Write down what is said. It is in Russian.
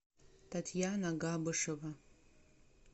татьяна габышева